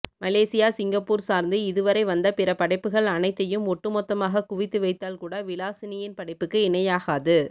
Malaysia Singapore சார்ந்து இதுவரை வந்த பிற படைப்புக்கள் அனைத்தையும் ஒட்டுமொத்தமாகக் குவித்து வைத்தால்கூட விலாசினியின் படைப்புக்கு இணையாகாது